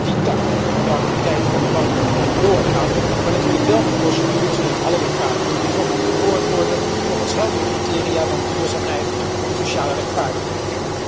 Die tak van activiteiten van de bank moet gewoon doorgaan, maar natuurlijk wel met procedures waarin alle lokale betrokkenen gehoord worden, volgens heldere criteria van duurzaamheid en sociale rechtvaardigheid.